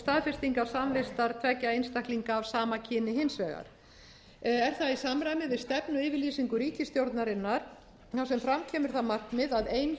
staðfestingar samvistar tveggja einstaklinga af sama kyni hins vegar er það ís samræmi við stefnu yfirlýsingu ríkisstjórnarinnar þar sem fram kemur það markmið að ein